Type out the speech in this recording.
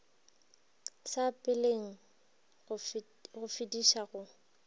sa peleng go fediša go